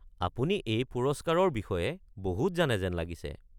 আপুনি এই পুৰস্কাৰৰ বিষয়ে বহুত জানে যেন লাগিছে।